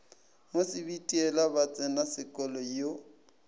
mo sebitiela ba tsenasekolo yo